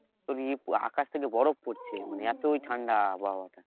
তোর আকাশ থেকে বরফ পড়ছে মানে এতই ঠান্ডা আবহাওয়া টা